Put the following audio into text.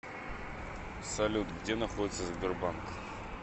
салют где находится сбербанк